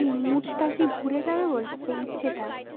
এই mood টা কি ঘুরে যাবে ইচ্ছেটা